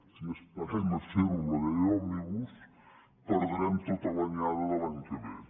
si esperem a fer ho amb la llei òmnibus perdrem tota l’anyada de l’any que ve